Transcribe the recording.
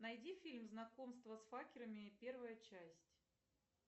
найди фильм знакомство с факерами первая часть